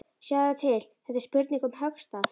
Sjáðu til, þetta er spurning um höggstað.